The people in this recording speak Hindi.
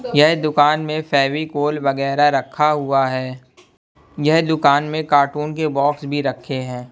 यह दुकान में फेविकोल वैगरा रखा हुआ है यह दुकान में कार्टून के बॉक्स भी रखे हैं।